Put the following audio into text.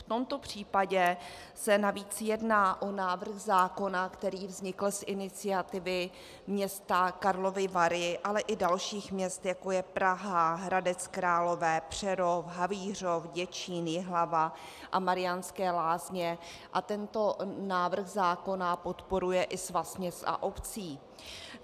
V tomto případě se navíc jedná o návrh zákona, který vznikl z iniciativy města Karlovy Vary, ale i dalších měst, jako je Praha, Hradec Králové, Přerov, Havířov, Děčín, Jihlava a Mariánské Lázně, a tento návrh zákona podporuje i Svaz měst a obcí.